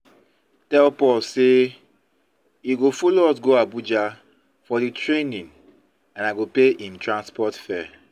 tell paul say he go follow us go abuja for the the training and i go pay him transport fare